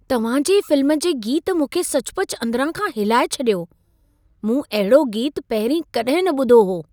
तव्हां जे फ़िल्म जे गीत मूंखे सचुपचु अंदिरां खां हिलाए छॾियो। मूं अहिड़ो गीतु पहिरीं कॾहिं न ॿुधो हो।